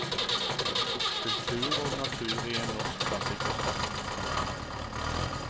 Kultur og natur i en norsk klassikers verk. punktum